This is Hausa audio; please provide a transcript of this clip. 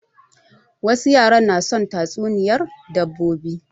Wasu yaran na son tatsuniyar dabbobi